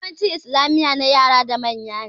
Yawancin islamiya na yara da manya ne